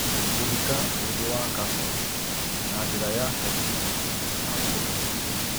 Gũthika ũndũ wa kaboni na njĩra ya kũbutha na ũhũthũ